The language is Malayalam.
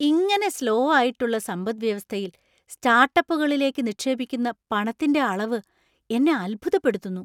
ഇങനെ സ്ലോ ആയിട്ടുള്ള സമ്പദ്‌വ്യവസ്ഥയിൽ സ്റ്റാർട്ടപ്പുകളിലേക്ക് നിക്ഷേപിക്കുന്ന പണത്തിന്‍റെ അളവ് എന്നെ അത്ഭുതപ്പെടുത്തുന്നു.